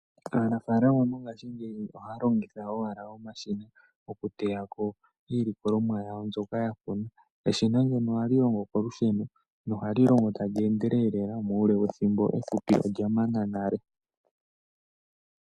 Aanafalama mongashingeyi ohaya longitha ashike omashina okuteyako iilikolomwa yawo mbyono ya kuna eshina ohali longo kolusheno nohali longo tali endelele muule wethimbo ehupi olya mana nale.